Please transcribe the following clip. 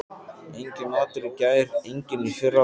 Enginn matur í gær, enginn í fyrradag.